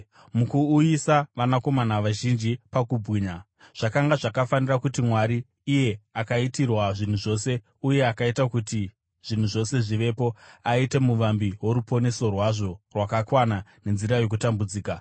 Mukuuyisa vanakomana vazhinji pakubwinya, zvakanga zvakafanira kuti Mwari iye akaitirwa zvinhu zvose uye akaita kuti zvinhu zvose zvivepo, aite muvambi woruponeso rwazvo rwakakwana nenzira yokutambudzika.